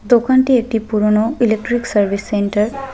দোকানটি একটি পুরোনো ইলেক্ট্রিক সার্ভিস সেন্টার ।